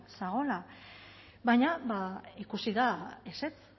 zegoela baina ikusi da ezetz